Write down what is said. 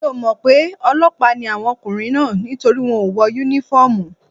Mi ò mọ̀ pé ọlọ́pàá ni àwọn ọkùnrin náà nítorí wọ́n ò wọ Únífọ́ọ̀mù